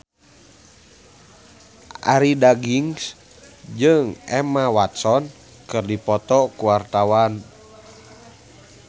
Arie Daginks jeung Emma Watson keur dipoto ku wartawan